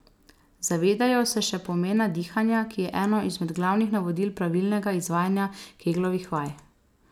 Zavejo se še pomena dihanja, ki je eno izmed glavnih navodil pravilnega izvajanja keglovih vaj.